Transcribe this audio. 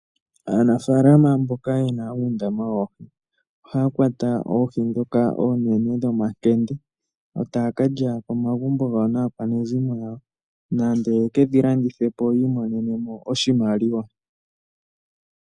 Aanafalama mboka yena undama woohi oha kwata oohi dhoka onene dhomakenge otakalya komagumbo gawo naakwanezimo lyawo nande yekedhi landithepo yimonene oshimaliwa .